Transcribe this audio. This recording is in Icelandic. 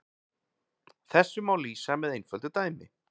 Þessu má lýsa með einföldu dæmi.